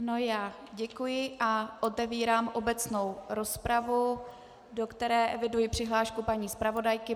Ano, já děkuji a otevírám obecnou rozpravu, do které eviduji přihlášku paní zpravodajky.